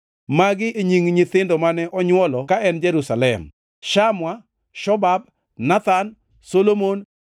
Magi e nying nyithindo mane onywolo ka en Jerusalem: Shamua, Shobab, Nathan, Solomon,